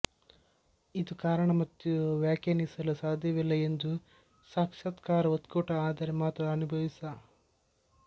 ಇದು ಕಾರಣ ಮತ್ತು ವ್ಯಾಖ್ಯಾನಿಸಲು ಸಾಧ್ಯವಿಲ್ಲ ಎಂದು ಸಾಕ್ಷಾತ್ಕಾರ ಒಕ್ಕೂಟ ಆದರೆ ಮಾತ್ರ ಅನುಭವಿಸ